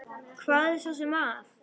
Hvað er svo sem að?